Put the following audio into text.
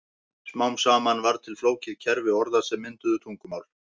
Smám saman varð til flókið kerfi orða sem mynduðu tungumál.